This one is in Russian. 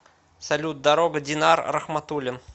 салют дорога динар рахматулин